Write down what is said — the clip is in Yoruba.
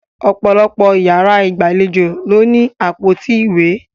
Ọ̀pọ̀lọpọ̀ yàrá ìgbàlejò ló ní àpótí ìwé.